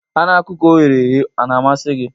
Anụ ọkụkọ e ghere eghe ọ na-amasị gị?